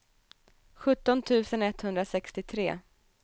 sjutton tusen etthundrasextiotre